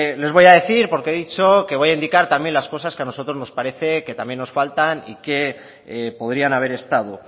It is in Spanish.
les voy a decir porque he dicho que voy a indicar también las cosas que a nosotros también nos parece que también nos faltan y que podrían haber estado